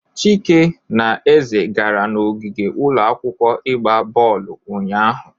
Chike na Eze gara n'ogige ụlọ akwụkwọ ịgba bọọlụ ụnyahụ.